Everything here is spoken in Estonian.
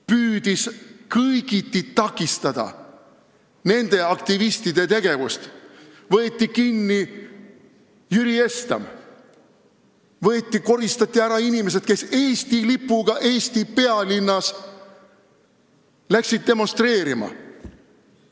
Püüdis kõigiti takistada aktivistide tegevust: võeti kinni Jüri Estam, koristati ära inimesed, kes läksid Eesti pealinnas Eesti lipuga oma meelsust demonstreerima.